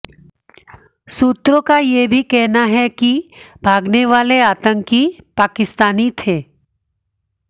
सूत्रों का यह भी कहना है कि भागने वाले आतंकी पाकिस्तानी थे